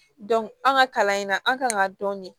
an ka kalan in na an kan ka dɔni